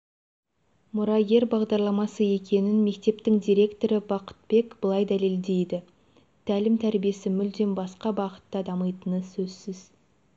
мұрагер бағдарламасы екенін мектептің директоры бақытбек былай дәлелдейді тәлім-тәрбиесі мүлдем басқа бағытта дамитыны сөзсіз